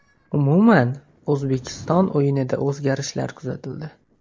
Umuman, O‘zbekiston o‘yinida o‘zgarishlar kuzatildi.